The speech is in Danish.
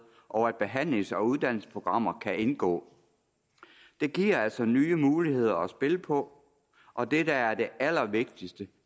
og at behandlings og uddannelsesprogrammer kan indgå det giver altså nye muligheder at spille på og det der er det allervigtigste